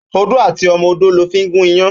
Ódó àtí òmò ódó lò fi n gún iyán